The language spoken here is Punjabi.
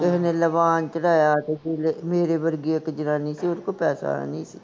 ਕਿਸੇ ਨੇ ਲਭਾਣ ਚੜ੍ਹਾਇਆ, ਕਿਸੇ ਮੇਰੇ ਵਰਗੀ ਇਕ ਜਨਾਨੀ ਸੀ, ਓਹਦੇ ਕੋਲ ਪੈਸੇ ਹੈਨੀ ਸੀ